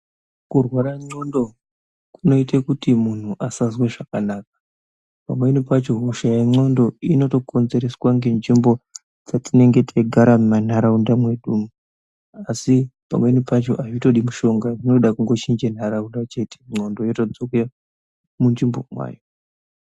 Kurwara ndxondo kunoite kuti muntu asazwe zvakanaka . Pamweni pacho hosha yendxondo inotokonzerwa ngenzvimbo dzetinogara mumanharaunda umwo. Asi pamweni pacho azvingodi mushonga panongede kuchinje nzvimbo chete ndxondo yotodzokera munzvimbo mwayo.